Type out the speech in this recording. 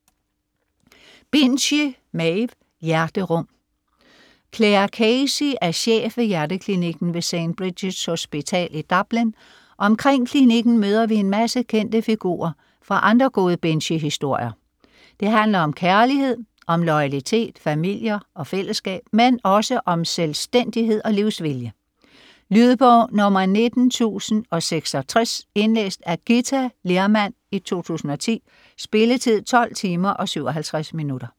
Binchy, Maeve: Hjerterum Clare Casey er chef ved hjerteklinikken ved St. Bridgets hospital i Dublin, omkring klinikken møder vi en masse kendte figurer fra andre gode Binchy-historier, det handler om kærlighed, om loyalitet, familier og fællesskab. Men også om selvstændighed og livsvilje. Lydbog 19066 Indlæst af Githa Lehrmann, 2010. Spilletid: 12 timer, 57 minutter.